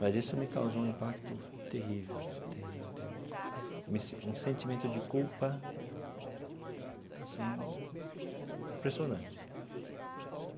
Mas isso me causou um impacto terrível terrível terrível me si um sentimento de culpa assim impressionante.